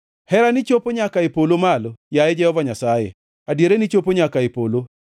Herani ochopo nyaka e polo malo, yaye Jehova Nyasaye; adierani chopo nyaka e polo,